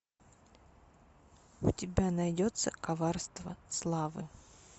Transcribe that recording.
у тебя найдется коварство славы